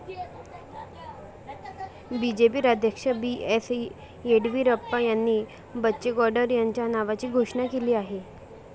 BJP राज्याध्यक्ष B. S Yeddyurappa यांनी बच्चेगौडर यांच्या नावाची घोषणा केली आहे.